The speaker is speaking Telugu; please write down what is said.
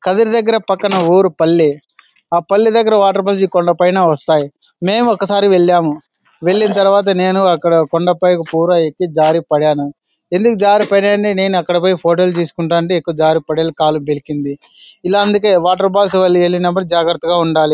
కదిరి దగర ఓరి పల్లి ఆ పల్లి దగ్గర ఆ కొండా పైన వాటర్ పల్లి కొండా పైన వస్తాయ్ మేము ఒకసారి వెళ్ళాము వెళ్లిన తరువాత నేను కొండా పైకి వెళ్లి ఎక్కి తూర ఫ్యాను ఎందుకు జారీ పాడాను అంటే అక్కడ ఫొటోస్ లు తీసుకుంటుంటే జారీ పాడాను కాలు బెణికింది ఎలా అందుకే వాటర్ ఫాల్స్ ఇల్లినాదుకు జాగర్తగా ఉండాలి.